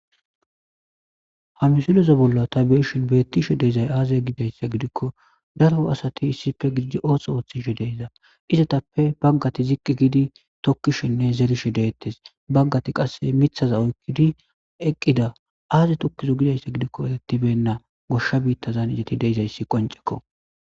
Hamisiloza bolla ta beeshin beettishe deizay aaze gidayssa gidikko daro asati issife gididi ooso ooththishe deyza izetappe baggati ziqqi gidi tokkishenne zerishe deettes baggati qasse mithaza oykkidi eqqida aaze tokkizo gidayssa gidikko eettibenna goshsha biittazan ijati deizayssi qoncekko